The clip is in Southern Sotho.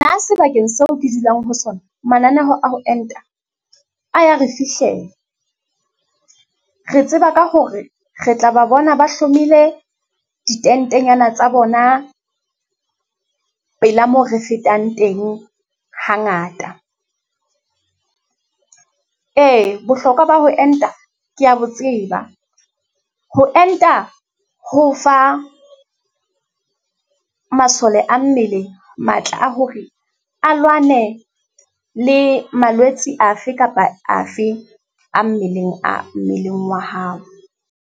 Nna, sebakeng seo ke dulang ho sona, mananeho a ho enta a ya re fihlela. Re tseba ka hore re tla ba bona ba hlomile ditentenyana tsa bona pela moo re fetang teng hangata. Ee, bohlokwa ba ho enta ke ya bo tseba. Ho enta ho fa masole a mmele matla a hore a lwane le malwetsi afe kapa afe a mmeleng, a mmeleng wa hao.